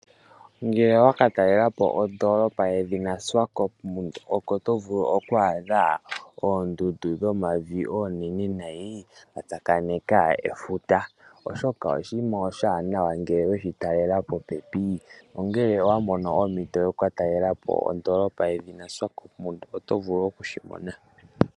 Uuna wakatalela po ondoolopa yedhina Swakopmund oko to vulu oku adha oondundu shomavi oonene nayi dha tsakaneka efuta molwaashoka oshinima oshiwanawa ngele weshitalela popepi. Ngele owa mono ompito yokukatalela po ondoolopa yedhina Swakopmund oto vulu okushimona.